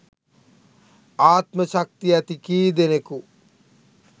ආත්ම ශක්තිය ඇති කීදෙනෙකු